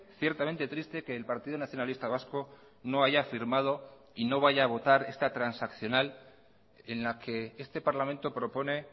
ciertamente triste que el partido nacionalista vasco no haya firmado y no vaya a votar esta transaccional en la que este parlamento propone